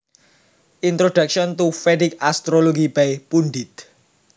Introduction to Vedic Astrology By Pundit